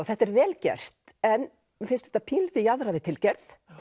þetta er vel gert en mér finnst þetta pínulítið jaðra við tilgerð